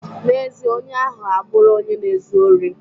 Na-ezie, onye ahụ abụro onye na-ezu ori.